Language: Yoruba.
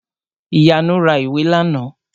Ìyanu ra ìwé làná